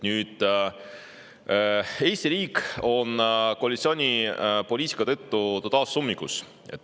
Eesti riik on koalitsiooni poliitika tõttu taas ummikus.